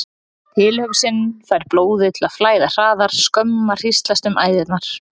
Tilhugsunin fær blóðið til að flæða hraðar, skömm hríslast um æðarnar.